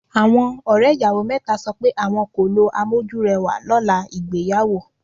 Àwọn ọ̀rẹ́ ìyàwó mẹ́ta sọ pé àwọn kò lo amójúrẹwà lọ́la ìgbéyàwó.